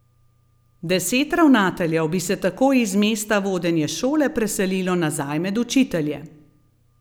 Deset ravnateljev bi se tako iz mesta vodenja šole preselilo nazaj med učitelje.